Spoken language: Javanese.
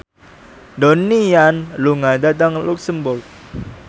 Donnie Yan lunga dhateng luxemburg